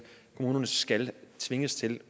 kommunerne skal tvinges til